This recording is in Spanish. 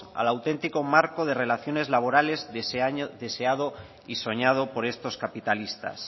al auténtico marco de relaciones laborales deseado y soñado por estos capitalistas